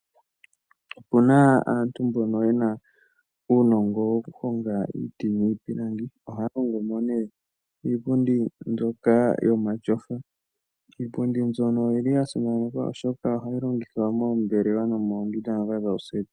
Opu na aantu mbono ye na uunongo wokuhonga iiti niipilangi. Ohaya hongo mo ne iipundi mbyoka yomatyofa. Iipundi mbyono oyi li ya simanekwa oshoka ohayi longithwa moombelewa nomoondunda ndhoka dhooseti.